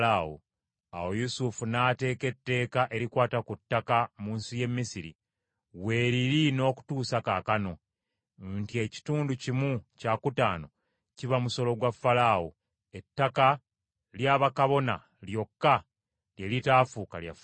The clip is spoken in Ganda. Awo Yusufu n’ateeka etteeka erikwata ku ttaka mu nsi y’e Misiri; weeliri n’okutuusa kaakano, nti ekitundu kimu kyakutaano kiba musolo gwa Falaawo; ettaka ly’abakabona lyokka lye litaafuuka lya Falaawo.